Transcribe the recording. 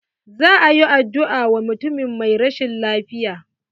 Za a yi addu'a wa mutumin mai rashin lafiya.